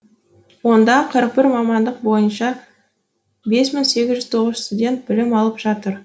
онда қырық бір мамандық бойынша бес мың сегіз тоғыз студент білім алып жатыр